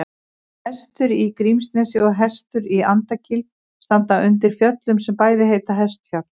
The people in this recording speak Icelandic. Hestur í Grímsnesi og Hestur í Andakíl standa undir fjöllum sem bæði heita Hestfjall.